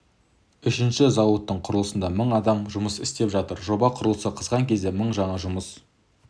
үшінші зауыттың құрылысында мың адам жұмыс істеп жатыр жоба құрылысы қызған кезде мың жаңа жұмыс